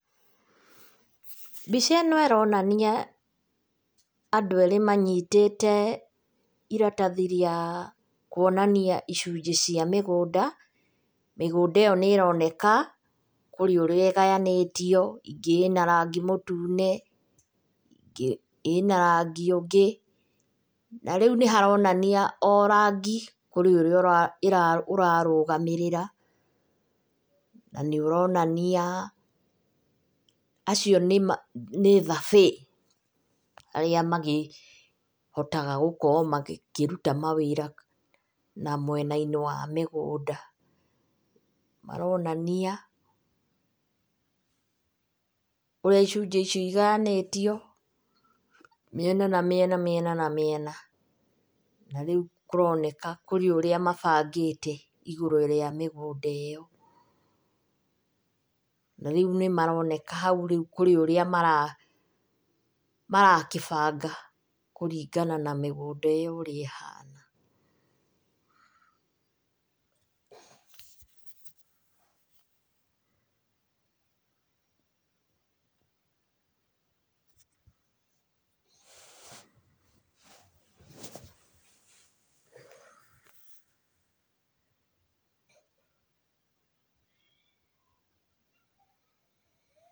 Mbica ĩno ĩronania andũ erĩ manyitĩte iratathi rĩa kuonania icunjĩ cia mũgũnda. Mĩgũnda ĩyo nĩ ĩroneka kũrĩ ũrĩa ĩgayanĩtio, ĩngĩ ĩna rangi mũtune, ĩngĩ ĩna rangi ũngĩ, na rĩu nĩ haronania o rangi, kũrĩ ũrĩa ĩra, ũrarũgamĩrĩra na nĩ ũronania acio nĩma nĩ thabĩĩ, arĩa makĩhotaga kũruta wĩra ũcio wa gũkorwo makĩruta mawĩra na mwena-inĩ wa mĩgũnda. Maronania ũrĩa icunjĩ icio igayanĩtio mĩena na mĩena, mĩena na mĩena na rĩũ kũroneka kũrĩ ũrĩa mabangĩte igũrũ rĩa mĩgũnda ĩyo, na rĩũ nĩ maroneka haũ kũrĩ ũrĩa mara, marakĩbanga kũringana na mĩgũnda ĩyo ũrĩa ĩhana.